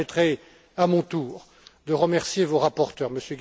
Vous me permettrez, à mon tour, de remercier vos rapporteurs, M.